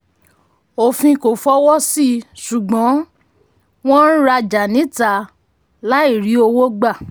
òfin kò fọwọ́ sí ṣùgbọ́n um wọ́n ń rajà níta um láì rí owó gbà.